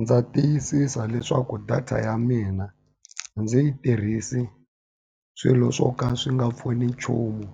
Ndza tiyisisa leswaku data ya mina a ndzi yi tirhisi swilo swo ka swi nga pfuni nchumu.